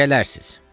Gələrsiz.